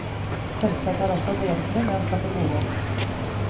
Selskapet er også behjelpelig med å skaffe bolig.